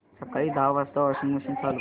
सकाळी दहा वाजता वॉशिंग मशीन चालू कर